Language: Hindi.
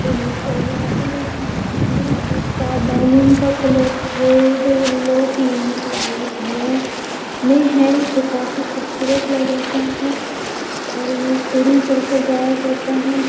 डिनर करने आते हैं खाना खाने। अभी इसका बैलून का colour red yellow pink white blue में है जो काफी खूबसूरत लग रहा है और ये सीढ़ी चढ़कर जाया जाता है।